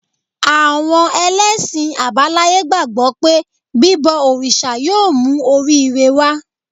Àwọn ẹlẹ́sìn àbáláyé gbàgbọ́ pé bíbọ òrìṣà yóò mú orí-ire wá